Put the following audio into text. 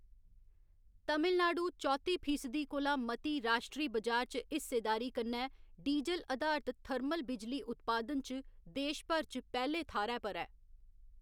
तमिलनाडु चौत्ती फीसदी कोला मती राश्ट्री बजार च हिस्सेदारी कन्नै डीजल अधारत थर्मल बिजली उत्पादन च देश भर च पैह्‌‌‌ले थाह्‌‌‌रै पर ऐ।